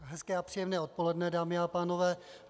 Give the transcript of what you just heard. Hezké a příjemné odpoledne, dámy a pánové.